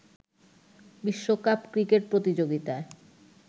বিশ্বকাপ ক্রিকেট প্রতিযোগিতায়